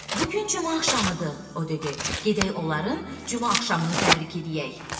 "Bu gün cümə axşamıdır," o dedi, "gedək onların cümə axşamını təbrik edək."